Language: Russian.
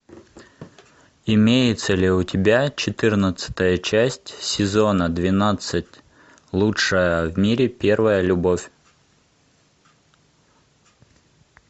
имеется ли у тебя четырнадцатая часть сезона двенадцать лучшая в мире первая любовь